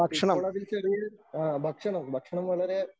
ഇപ്പോളതിൽ ചെറിയ ആ ഭക്ഷണം ഭക്ഷണം വളരെ